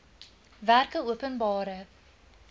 werkeopenbare